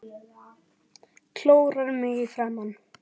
Klórar mig í framan.